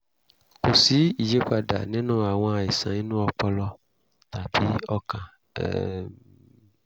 kò sí ìyípadà nínú àwọn àìsàn inú ọpọlọ tàbí ọkàn um